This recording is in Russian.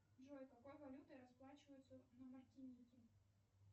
джой какой валютой расплачиваются на мартинике